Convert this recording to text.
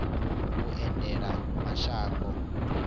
vhuendelamashango